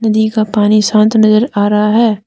दी का पानी शांत नजर आ रहा है।